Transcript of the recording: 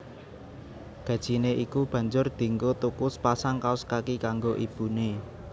Gajine iku banjur dienggo tuku sepasang kaos kaki kanggo ibune